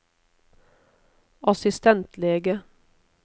assistentlege